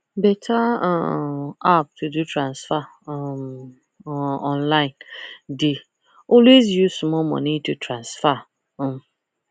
better um app to do transaction um um online dey always use small money to transfer um